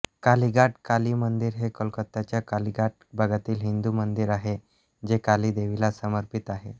कालीघाट काली मंदिर हे कोलकाताच्या कालिघाट भागातील हिंदू मंदिर आहे जे काली देवीला समर्पित आहे